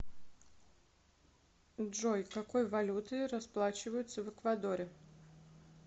джой какой валютой расплачиваются в эквадоре